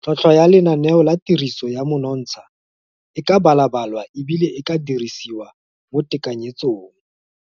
Tlhotlhwa ya lenaneo la tiriso ya monontsha e ka balabalwa e bile e ka dirisiwa mo tekanyetsong.